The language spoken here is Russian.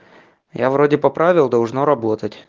я вроде поправил должно работать